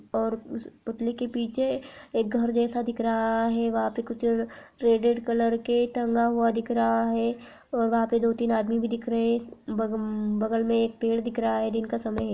और उस पुतले के पीछे एक घर जैसा दिख रहा है वहां पे कुछ रेड रेड कलर के टंगा हुआ दिख रहा है और वहां पे दो तीन आदमी भी दिख रहे ब ब बगल मे एक पेड़ दिख रहा है दिन का समय है।